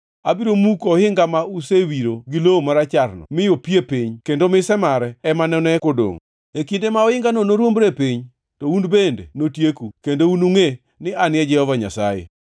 Abiro muko ohinga ma usewiro gi lowo maracharno mi opie piny kendo mise mare ema none kodongʼ. E kinde ma ohingano noruombre piny, to un bende notieku; kendo unungʼe ni An e Jehova Nyasaye.